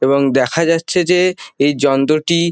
এবং দেখা যাচ্ছে যে এই যন্ত্রটি--